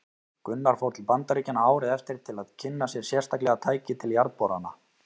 Gunnar fór til Bandaríkjanna árið eftir til að kynna sér sérstaklega tæki til jarðborana.